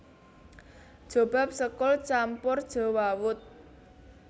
Jobab sekul campur jewawut